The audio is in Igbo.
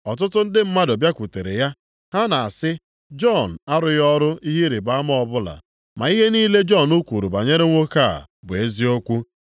Ọtụtụ ndị mmadụ bịakwutere ya. Ha na-asị, “Jọn arụghị ọrụ ihe ịrịbama ọbụla, ma ihe niile Jọn kwuru banyere nwoke a bụ eziokwu.”